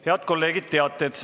Head kolleegid, teated.